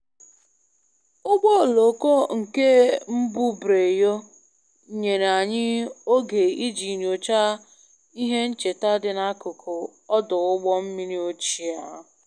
Ụgbọ oloko nke mbubreyo nyere anyị oge iji nyochaa ihe ncheta dị n'akụkụ ọdụ ụgbọ mmiri ochie ahụ